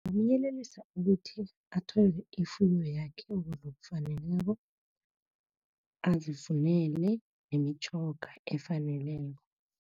Ngamyelelisa ukuthi, athole ifuyo yakhe ngokufaneleko, azifunele nemitjhoga efaneleko.